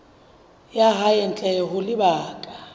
ya hae ntle ho lebaka